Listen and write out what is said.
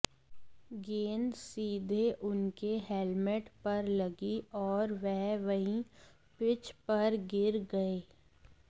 गेंद सीधे उनके हेल्मट पर लगी और वह वहीं पिच पर गिर गए